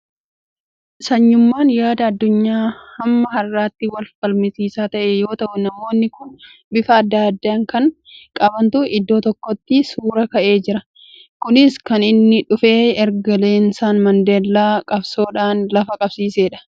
Sanyummaan yaada addunyaa hamma har'aatti wal falmisiisaa ta'e yoo ta'u, namoonni kun bifa adda addaa kan qabantu iddoo tokkotti suuraa ka'ee jira. Kunis kan inni dhufe erga Leensan Mandeellaan qabsoodhaan lafa qabsiiseedha.